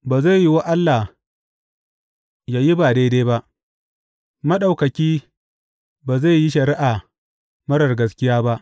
Ba zai yiwu Allah yă yi ba daidai ba, Maɗaukaki ba zai yi shari’a marar gaskiya ba.